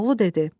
Koroğlu dedi: